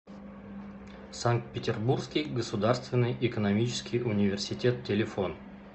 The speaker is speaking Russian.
санкт петербургский государственный экономический университет телефон